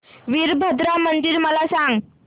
वीरभद्रा मंदिर मला सांग